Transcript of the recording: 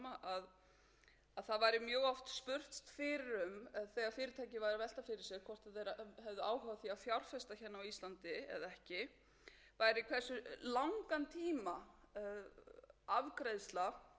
að velta fyrir sér hvort þau hefðu áhuga á því að fjárfesta hérna á íslandi eða ekki væri hversu langan tíma afgreiðsla til